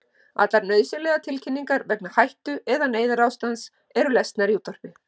Allar nauðsynlegar tilkynningar vegna hættu- eða neyðarástands eru lesnar í útvarpi.